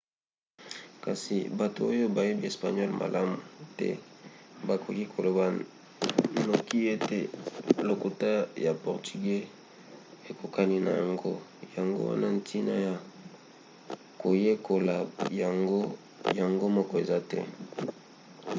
kasi bato oyo bayebi espagnole malamu te bakoki koloba noki ete lokota ya portugeux ekokani na yango yango wana ntina ya koyekola yango yango moko eza te